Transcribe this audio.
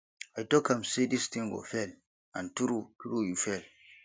i talk am say dis thing go fail and true true e fail